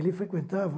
Ele frequentava